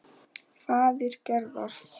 Faðir Gerðar.